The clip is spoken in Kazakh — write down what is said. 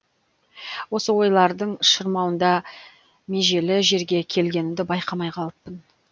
осы ойлардың шырмауында межелі жерге келгенімді байқамай қалыппын